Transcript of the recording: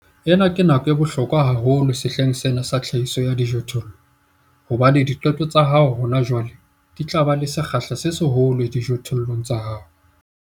Ena ke nako ya bohlokwa haholo sehleng sena sa tlhahiso ya dijothollo hobane diqeto tsa hao hona jwale di tla ba le sekgahla se seholo dijothollong tsa hao.